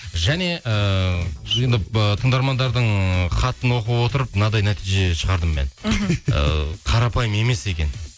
және ыыы енді ыыы тыңдармандардың хатын оқып отырып мынандай нәтиже шығардым мен ы қарапайым емес екен